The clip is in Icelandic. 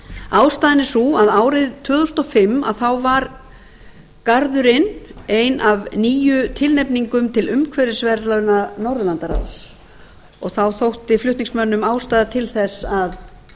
ástæðan er sú að árið tvö þúsund og fimm þá var garðurinn ein af níu tilnefningum til umhverfisverðlauna norðurlandaráðs þá þótti flutningsmönnum ástæða til þess að